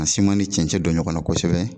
Ka ni cɛncɛn don ɲɔgɔnna kosɛbɛ